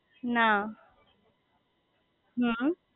ના હમ્મ